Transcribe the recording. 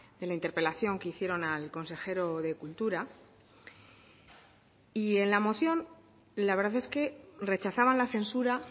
de la interpelación que hicieron al consejero de cultura y en la moción la verdad es que rechazaban la censura